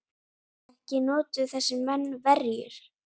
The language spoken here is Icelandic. Ekki notuðu þessir menn verjur.